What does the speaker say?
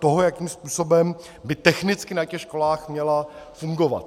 Toho, jakým způsobem by technicky na těch školách měla fungovat.